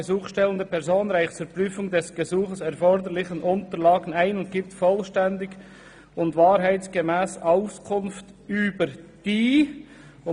«Die gesuchstellende Person reicht die zur Prüfung des Gesuchs erforderlichen Unterlagen ein und gibt vollständig und wahrheitsgemäss Auskunft über die […]».